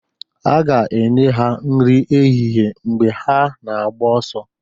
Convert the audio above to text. a ga-enye ha nri ehihie mgbe ha na-agba ọsọ